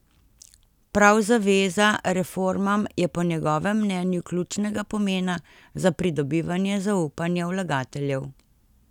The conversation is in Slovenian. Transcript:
Prav zaveza reformam je po njegovem mnenju ključnega pomena za pridobivanje zaupanja vlagateljev.